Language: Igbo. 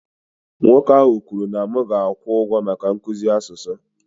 Nwoke ahụ kwuru na m ga-akwụ ụgwọ maka nkuzi asụsụ